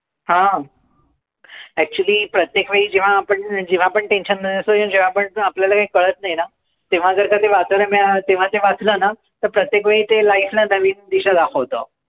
हां. Actually प्रत्येकवेळी जेंव्हा आपण tension मध्ये असतो आणि जेंव्हा आपल्याला काही कळत नाही नां, तेंव्हा जर का ते वाचायला मिळालं नां, तेंव्हा ते वाचलं नां, प्रत्येकवेळी ते life ला नवी दिशा दाखवतं.